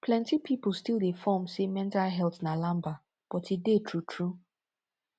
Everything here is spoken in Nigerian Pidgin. plenti pipo stil dey form say mental health na lamba but e dey tru tru